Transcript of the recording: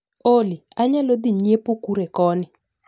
Olly, anyalo dhii nyiepo kure koni